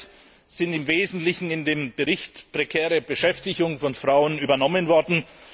Das alles ist im Wesentlichen in den Bericht über die prekäre Beschäftigung von Frauen übernommen worden.